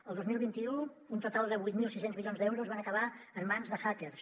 el dos mil vint u un total de vuit mil sis cents milions d’euros van acabar en mans de hackers